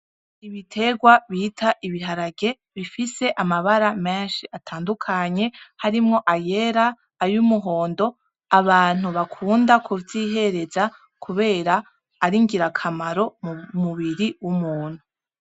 Ibiterwa bita ibiharage bifise amabara meshi atandukanye harimwo ayera, ay’umuhondo abantu bakunda ku vyihereza kubera ari ingirakamaro mu mubiri w'umuntu.